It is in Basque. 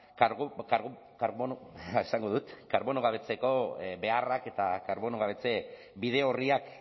karbono gabetzeko beharrak eta karbono gabetze bide orriak